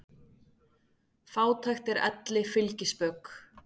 Fátækt er elli fylgispök.